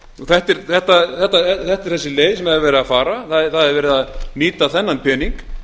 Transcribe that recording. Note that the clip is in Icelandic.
þetta er þessi leið sem er leið að fara það er verið að nýta þennan pening